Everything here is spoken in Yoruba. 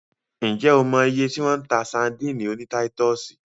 Ǹ jẹ́ o mọ iye tí wọ́n ń ta sadíìnì oní táítọ̀sì?